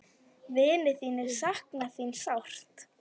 Vinir þínir sakna þín sárt.